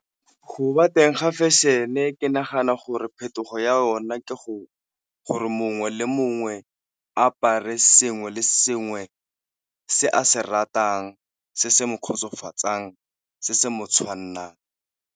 Go bateng ga fashion-e ke nagana gore phetogo ya yona ke gore mongwe le mongwe apare sengwe le sengwe se a se ratang, se se mo kgotsofatsang, se se mo tshwannang.